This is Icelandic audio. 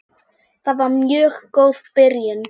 Það var mjög góð byrjun.